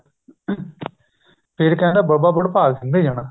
ਫ਼ੇਰ ਕਹਿੰਦੇ ਬਾਬਾ ਵਡਭਾਗ ਸਿੰਘ ਦੇ ਜਾਣਾ